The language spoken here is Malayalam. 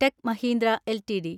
tech Mahindra LTD